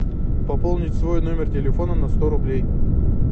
пополнить свой номер телефона на сто рублей